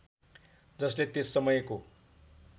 जसले त्यस समयको